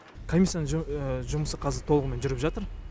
комиссияның жұмысы қазір толығымен жүріп жатыр